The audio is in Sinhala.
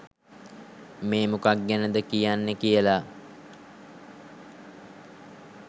මේ මොකක් ගැනද කියන්නේ කියලා